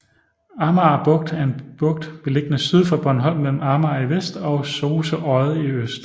Arnager Bugt er en bugt beliggende syd for Bornholm mellem Arnager i vest og Sose Odde i øst